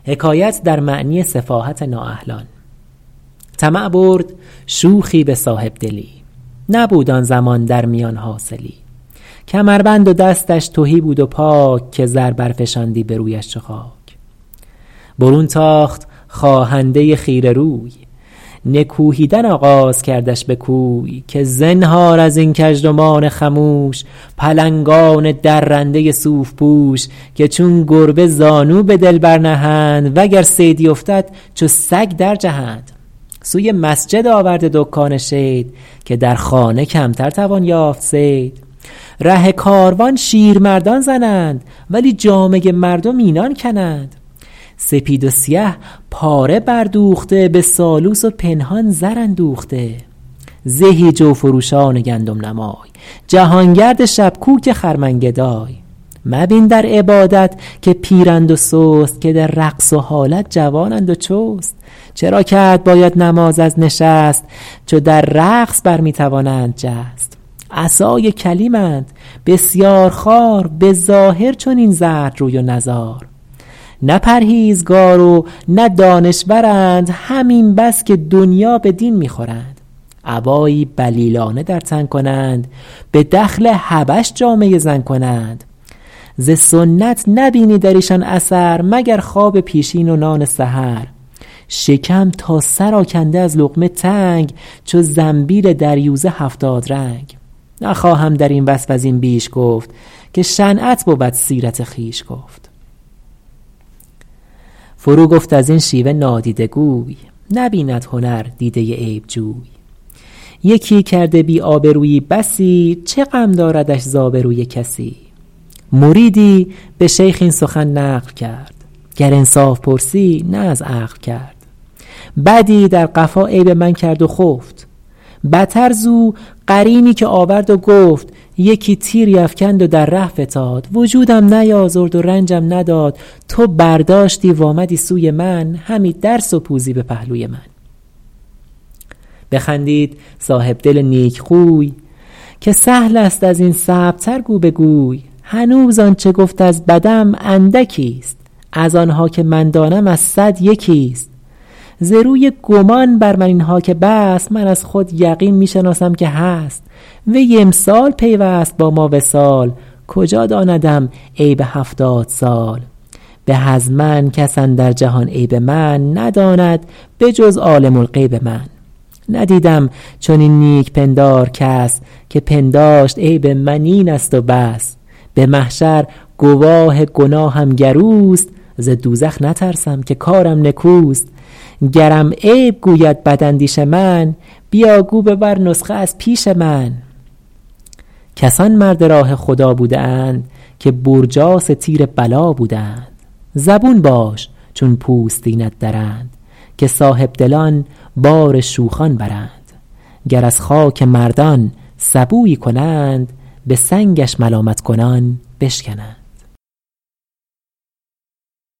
طمع برد شوخی به صاحبدلی نبود آن زمان در میان حاصلی کمربند و دستش تهی بود و پاک که زر برفشاندی به رویش چو خاک برون تاخت خواهنده خیره روی نکوهیدن آغاز کردش به کوی که زنهار از این کژدمان خموش پلنگان درنده صوف پوش که چون گربه زانو به دل برنهند و گر صیدی افتد چو سگ در جهند سوی مسجد آورده دکان شید که در خانه کمتر توان یافت صید ره کاروان شیرمردان زنند ولی جامه مردم اینان کنند سپید و سیه پاره بر دوخته به سالوس و پنهان زر اندوخته زهی جو فروشان گندم نمای جهانگرد شبکوک خرمن گدای مبین در عبادت که پیرند و سست که در رقص و حالت جوانند و چست چرا کرد باید نماز از نشست چو در رقص بر می توانند جست عصای کلیمند بسیار خوار به ظاهر چنین زرد روی و نزار نه پرهیزگار و نه دانشورند همین بس که دنیا به دین می خورند عبایی بلیلانه در تن کنند به دخل حبش جامه زن کنند ز سنت نبینی در ایشان اثر مگر خواب پیشین و نان سحر شکم تا سر آکنده از لقمه تنگ چو زنبیل دریوزه هفتاد رنگ نخواهم در این وصف از این بیش گفت که شنعت بود سیرت خویش گفت فرو گفت از این شیوه نادیده گوی نبیند هنر دیده عیبجوی یکی کرده بی آبرویی بسی چه غم داردش ز آبروی کسی مریدی به شیخ این سخن نقل کرد گر انصاف پرسی نه از عقل کرد بدی در قفا عیب من کرد و خفت بتر زو قرینی که آورد و گفت یکی تیری افکند و در ره فتاد وجودم نیازرد و رنجم نداد تو برداشتی و آمدی سوی من همی در سپوزی به پهلوی من بخندید صاحبدل نیکخوی که سهل است از این صعب تر گو بگوی هنوز آنچه گفت از بدم اندکی است از آنها که من دانم از صد یکی است ز روی گمان بر من اینها که بست من از خود یقین می شناسم که هست وی امسال پیوست با ما وصال کجا داندم عیب هفتاد سال به از من کس اندر جهان عیب من نداند به جز عالم الغیب من ندیدم چنین نیک پندار کس که پنداشت عیب من این است و بس به محشر گواه گناهم گر اوست ز دوزخ نترسم که کارم نکوست گرم عیب گوید بد اندیش من بیا گو ببر نسخه از پیش من کسان مرد راه خدا بوده اند که برجاس تیر بلا بوده اند زبون باش چون پوستینت درند که صاحبدلان بار شوخان برند گر از خاک مردان سبویی کنند به سنگش ملامت کنان بشکنند